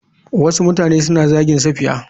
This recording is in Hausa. Wasu mutane suna zagin safiya.